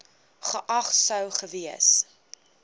geag sou gewees